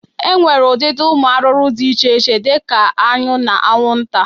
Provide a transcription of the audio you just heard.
E nwere ụdịdị ụmụ arụrụ dị iche iche dị ka aṅụ na aṅwụnta.